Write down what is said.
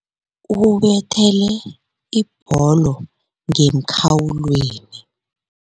Ubethele ibholo ngemkhawulweni.